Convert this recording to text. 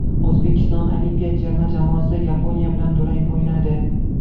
O‘zbekiston olimpiya terma jamoasi Yaponiya bilan durang o‘ynadi.